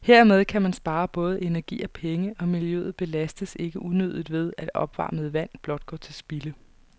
Dermed kan man spare både energi og penge, og miljøet belastes ikke unødigt ved, at opvarmet vand blot går til spilde.